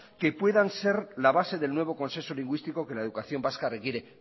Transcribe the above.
que puedan ser la base del nuevo consenso lingüístico que la educación vasca requiere